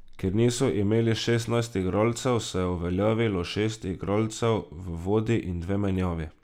Ker niso imeli šestnajstih igralcev, se je uveljavilo šest igralcev v vodi in dve menjavi.